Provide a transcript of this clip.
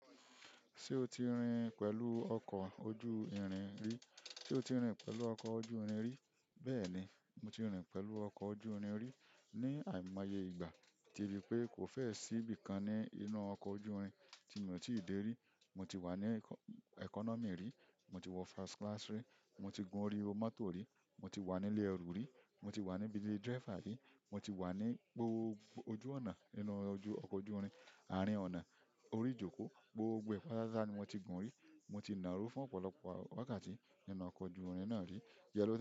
Ṣé o ti rìnrìn pẹ̀lú ọkọ̀ ojú irin rí? Sé o ti rìnrìn pẹ̀lú ọkọ̀ ojú irin rí? Bẹ́ẹ̀ni, mo ti rìnrìn pẹ̀lú ọkọ̀ ojú irin rí. Ni àìmáyé ìgbà, ti ri pé kò fẹ́ẹ̀ sí ibìkan ní inú ọkọ̀ ojú irin tí mi ò tíì dè rí. Mo ti wà ní economy rí, mo ti wọ first class rí, mo ti gùn orí mọ́tò rí, mo ti wà nílẹ̀ ẹrú rí, mo ti wà níbi tí driver rí, mo ti wà ní gbogbo ojú ọ̀nà inú ọkọ̀ ojú irin àárín ọ̀nà orí ìjókòó, gbogbo pátápátá ni mo ti gùn rí, mo ti nàró fún ọ̀pọ̀lọpọ̀ wákàtí nínú ọkọ̀ ojú irin náà rí. Ìjẹ́lẹ́